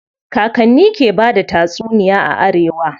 Kakanni ke bada tatsuniya a arewa.